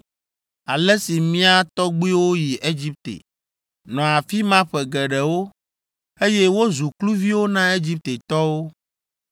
ale si mía tɔgbuiwo yi Egipte, nɔ afi ma ƒe geɖewo, eye wozu kluviwo na Egiptetɔwo.